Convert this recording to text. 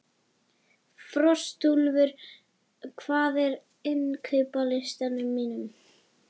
Frostúlfur, hvað er á innkaupalistanum mínum?